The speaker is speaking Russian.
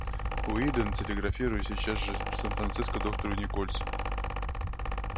уидон телеграфируй сейчас же в сан франциско доктору никольсу